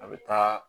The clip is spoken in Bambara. A bɛ taa